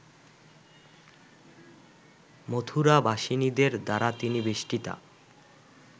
মথুরাবাসিনীদের দ্বারা তিনি বেষ্টিতা